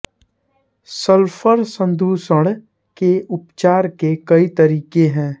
sulphur संदूषण के उपचार के कई तरीके हैं